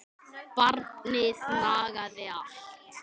Barnið nagaði allt.